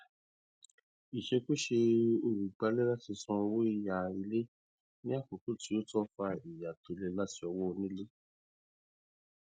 ìṣèkùsè olùgbàlé láti san owó yá ilé ní àkókò tó tọ fa ìyà tó le láti ọwọ onílé